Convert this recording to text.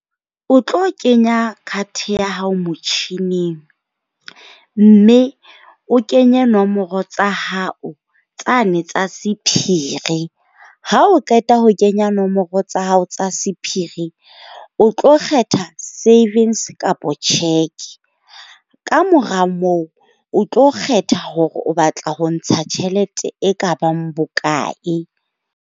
O tlo kenya card ya hao motjhining mme o kenye nomoro tsa hao tsane tsa sephiri. Ha o qeta ho kenya nomoro tsa hao tsa sephiri, o tlo kgetha savings kapa cheque. Kamora moo, o tlo kgetha hore o batla ho ntsha tjhelete e ka bang bokae.